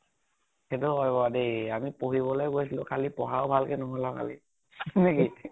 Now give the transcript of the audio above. সেইতোও হয় বাৰু দেই । আমি পঢ়িবলৈ গৈছিলো খালী, পঢ়াও ভালেকে নহʼল খালী । নে কি ?